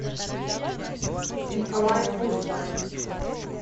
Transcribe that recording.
николай фурсов